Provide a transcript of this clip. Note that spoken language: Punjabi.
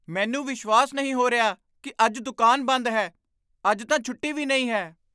ਮੈਨੂੰ ਵਿਸ਼ਵਾਸ ਨਹੀਂ ਹੋ ਰਿਹਾ ਕਿ ਅੱਜ ਦੁਕਾਨ ਬੰਦ ਹੈ! ਅੱਜ ਤਾਂ ਛੁੱਟੀ ਵੀ ਨਹੀਂ ਹੈ।